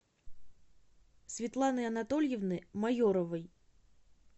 светланы анатольевны майоровой